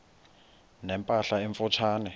ne mpahla emfutshane